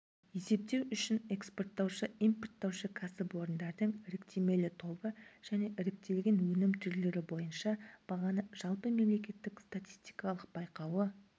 есептеу үшін экспорттаушы импорттаушы кәсіпорындардың іріктемелі тобы және іріктелген өнім түрлері бойынша бағаны жалпымемлекеттік статистикалық байқауы